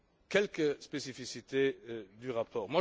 Quelques spécificités du rapport.